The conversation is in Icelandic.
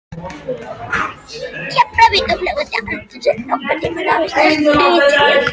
Keflavíkurflugvelli án þess að hafa nokkurn tímann snert á ritvél.